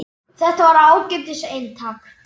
Þetta var ágætis eintak